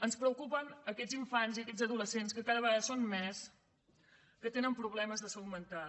ens preocupen aquests infants i aquests adolescents que cada vegada són més que tenen problemes de salut mental